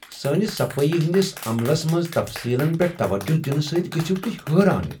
سٲنس صفٲیی ہندس عملس منٛز تفصیلن پیٹھ توجہ دنہٕ سۭتۍ گژھِو تُہۍ حیران۔